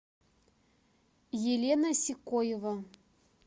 елена сикоева